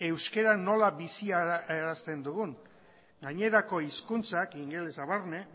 euskara nola biziarazten dugun gainerako hizkuntzak ingelesa barne